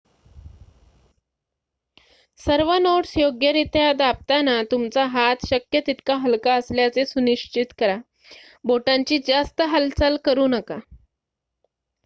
सर्व नोट्स योग्यरित्या दाबताना तुमचा हात शक्य तितका हलका असल्याचे सुनिश्चित करा बोटांची जास्त हालचाल करू नका